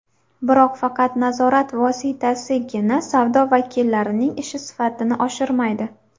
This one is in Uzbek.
Biroq faqat nazorat vositasigina savdo vakillarining ishi sifatini oshirmaydi.